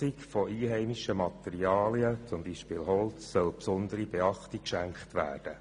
Der Nutzung von einheimischen Materialien, zum Beispiel Holz, soll besondere Beachtung geschenkt werden.